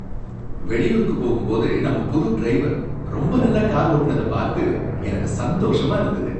வெளியூருக்கு போகும் போது நம்ம புது டிரைவர் ரொம்ப நல்லா கார் ஓட்டுனத பார்த்து எனக்கு சந்தோஷமா இருந்தது.